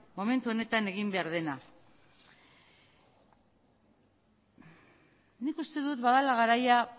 momentu hauetan egin behar dena nik uste dut badela garaia